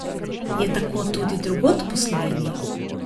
Je tako tudi drugod po Sloveniji?